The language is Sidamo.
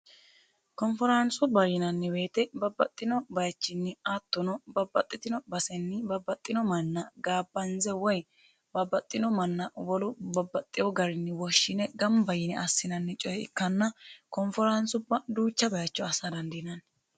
Konfaansubba yinanni woyiite babbaxino bayiichini babbaxino manna koyiinse woyi woshshine gamba yine assinannire ikkanna konforaansubba duucha darga assa dandiinanni.